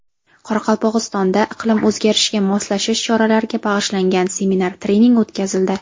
Qoraqalpog‘istonda iqlim o‘zgarishiga moslashish choralariga bag‘ishlangan seminar-trening o‘tkazildi.